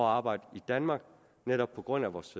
arbejde i danmark netop på grund af vores